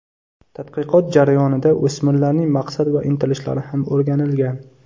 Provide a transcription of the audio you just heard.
Tadqiqot jarayonida o‘smirlarning maqsad va intilishlari ham o‘rganilgan.